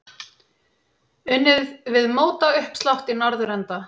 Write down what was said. Unnið við mótauppslátt í norðurenda.